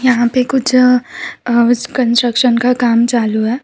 यहाँ पे कुछ ऑफिस कंस्ट्रक्शन का काम चालू है।